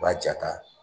U b'a ja ta